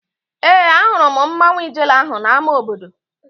Ee, ahụrụ m mmanwu Ijele ahụ n'ámá obodo